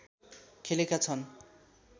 खेलेका छन्